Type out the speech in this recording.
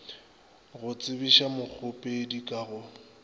go tsebiša mokgopedi ka go